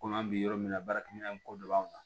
Komi an bɛ yɔrɔ min na baarakɛminɛn in ko dɔ b'an kan